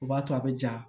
O b'a to a bɛ ja